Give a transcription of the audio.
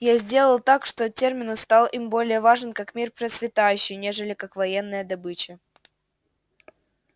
я сделал так что терминус стал им более важен как мир процветающий нежели как военная добыча